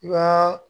I b'a